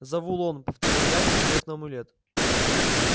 завулон повторил я посмотрев на амулет